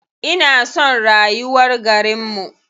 Ina son rayuwar garinmu.